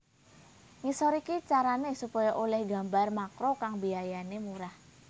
Ngisor iki carané supaya olih gambar makro kang biayané murah